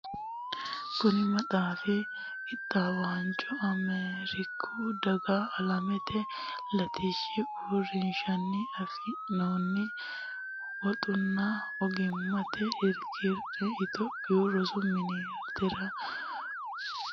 Kuni maxaafi qixxaawinohu Ameeriku Daga Alamete Latishshi Uurrinshanni afi noonni woxunna ogimmate irkonni Itophiyu Rosu Ministere Qoqqowu Rosu Biironna pirojekite mittimmanni ikkanna attamate hasiisanno woxi baataminohu Xaphoomu Rosi Isilanchimma Woyyeesso Pirojekitenniiti.